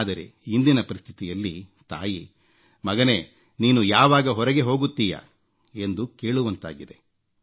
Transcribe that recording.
ಆದರೆ ಇಂದಿನ ಪರಿಸ್ಥಿತಿಯಲ್ಲಿ ತಾಯಿ ಮಗನೇ ನೀನು ಯಾವಾಗ ಹೊರಗೆ ಹೋಗುತ್ತೀಯಾ ಎಂದು ಕೇಳುವಂತಾಗಿದೆ